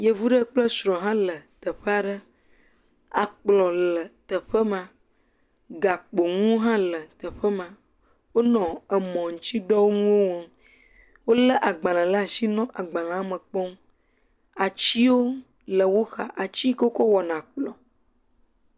Yevu ɖe kple srɔ ha le teƒe aɖe akplɔ le teƒe ma gakpo nuwo ha le teƒe ma wonɔ emɔ nutsi dɔwɔm wo le agbale ɖe asi nɔ agbalea me kpɔm atiwo le wo xa ati yike wokɔ wɔna kplɔ